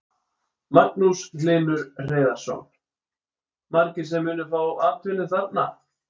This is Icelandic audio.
Magnús Hlynur Hreiðarsson: Margir sem munu fá atvinnu þarna?